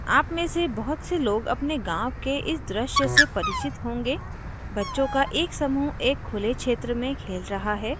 आप में से बहुत से लोग अपने गाँव के इस दृश्य से परिचित होंगेबच्चों का एक समूह एक खुले क्षेत्र में खेल रहा है